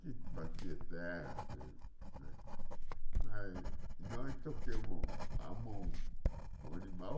que batia terra, e né mas nós tocamos a mão com o animal,